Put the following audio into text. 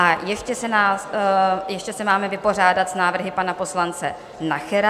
A ještě se máme vypořádat s návrhy pana poslance Nachera.